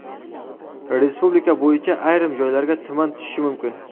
Respublika bo‘yicha ayrim joylarga tuman tushishi mumkin.